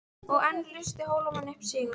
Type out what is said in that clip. Og enn lustu Hólamenn upp sigurópi.